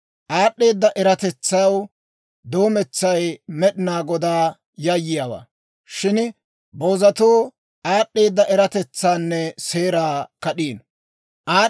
Aad'd'eeda eratetsaw doometsay Med'inaa Godaw yayyiyaawaa; shin boozatuu aad'd'eeda eratetsaanne seeraa kad'iino.